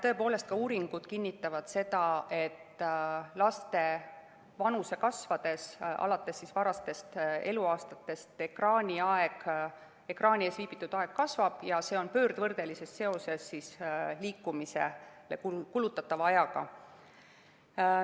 Tõepoolest, ka uuringud kinnitavad seda, et laste vanuse kasvades ja alates varastest eluaastatest ekraani ees viibitud aeg kasvab ja see on pöördvõrdelises seoses liikumisele kulutatava ajaga.